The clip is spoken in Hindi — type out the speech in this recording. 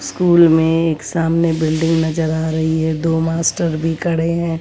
स्कूर में एक सामने बिल्डिंग नजर आ रही है दो मास्टर भी खड़े हैं।